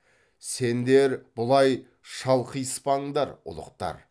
сендер бұлай шалқиыспаңдар ұлықтар